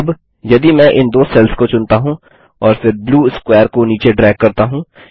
अब यदि मैं इन दो सेल्स को चुनता हूँ और फिर ब्लू स्क्वेर को नीचे ड्रैग करता हूँ